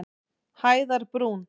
Hæðarbrún